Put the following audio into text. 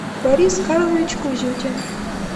борис карлович кузютин